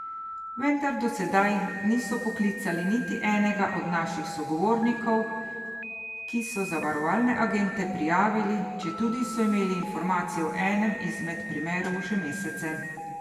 Vendar do sedaj niso poklicali niti enega od naših sogovornikov, ki so zavarovalne agente prijavili, četudi so imeli informacije v enem izmed primerov že mesece.